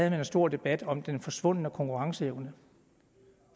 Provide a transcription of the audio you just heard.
en stor debat om den forsvundne konkurrenceevne